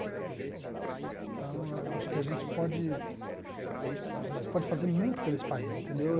Então, eu acho que a gente pode a gente pode fazer muito por esse país, entendeu?